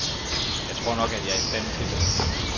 Jeg tror nok, at jeg er i stand tildet.